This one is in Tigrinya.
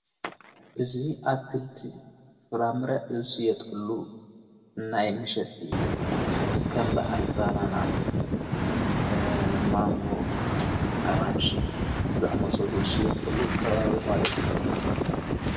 እዙ ኣትክልቲ ፍራምረዕ ዝሽየጠሉ እናይ ምሸጥ እዩ ከምብዓል ባናና ፣ማንጎ፣ ኣራንሽ ዝኣመሶሉ ዝሽየጠሉ ከባቢ መለት እዩ።